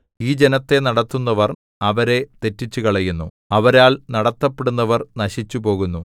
ഈ ജനത്തെ നടത്തുന്നവർ അവരെ തെറ്റിച്ചുകളയുന്നു അവരാൽ നടത്തപ്പെടുന്നവർ നശിച്ചുപോകുന്നു